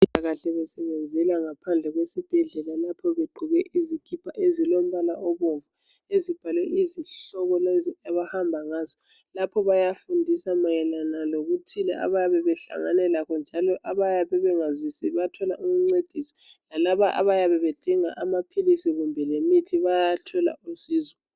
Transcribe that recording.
Abezempilakahle basebenzela ngaphandle kwesibhedlela lapho begqoke izipa ezilompala obomvu ezibhalwe izihloko abahamba ngazo lapha bayafundisa mayelana lokuthi ababe behlangane lakho njalo abayabe bengazwisisi bathola umcedisi lalaba abayabe bedinga amaphilisi kumbe lemithi bayathola usizo.